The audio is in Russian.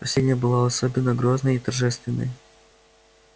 последняя была особенно грозной и торжественной